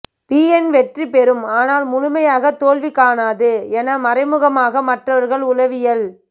PN வெற்றி பெறும் ஆனால் முழுமையாக தோல்வி காணாது என மறைமுகமாக மற்றவர்களை உளவியல்